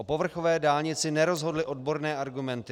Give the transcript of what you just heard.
O povrchové dálnici nerozhodly odborné argumenty.